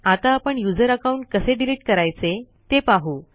आता आपण user account कसे डिलीट करायचे ते पाहू